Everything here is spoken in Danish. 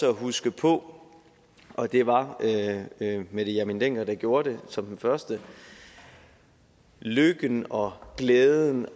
at huske på og det var mette hjermind dencker der gjorde det som det første lykken og glæden